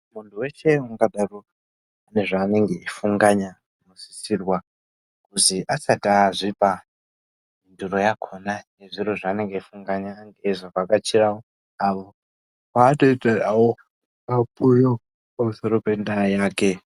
Mundu weshe ungadaro ane zvaanenge eyifunganya anosisirwe kuzi asati azvipa mhinduro yakona yezviro zvaanenge eyifunganya Ange eyizovhakachirawo avo vanotaurira pamusoro pendaa yake.